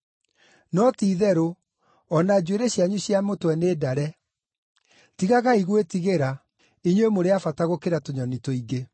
No ti-itherũ, o na njuĩrĩ cianyu cia mũtwe nĩ ndare. Tigagai gwĩtigĩra, inyuĩ mũrĩ a bata gũkĩra tũnyoni tũingĩ.